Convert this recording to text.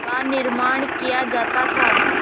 का निर्माण किया जाता था